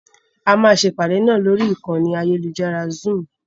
A máa ṣe ìpàdé náà lórí ìkànnì ayélujára Zoom.